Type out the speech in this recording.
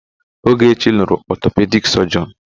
Ogechi lụrụ ọtọpedik sọjịọn.